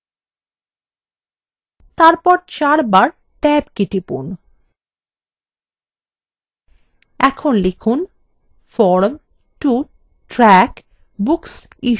তারপর চার বার ট্যাব key টিপুন এরপর লিখুন form to track books issued to members